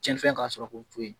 Cɛnnifɛn ka sɔrɔ ko to yen